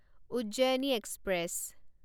Ujjayini express